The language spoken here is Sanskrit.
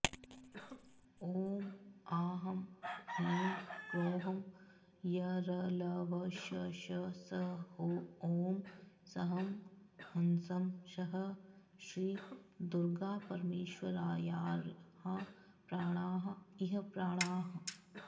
ॐ आं ह्रीं क्रों यरलवशषसहोऽं सं हंसः श्री दुर्गापरमेश्वर्याः प्राणाः इह प्राणाः